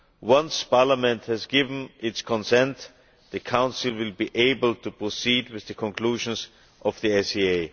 Once Parliament has given its consent, the Council will be able to proceed with the conclusions of the SAA.